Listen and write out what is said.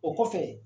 O kɔfɛ